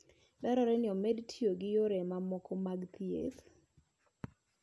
Dwarore ni omed tiyo gi yore mamoko mag thieth.